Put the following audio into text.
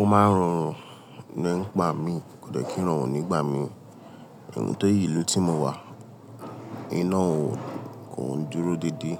O máa ń rorun nígba mi, kò dẹ́ kí ń rorun nígba mi. Tóri ilu ti mo wà. Iná òún kò ń dúró dédé.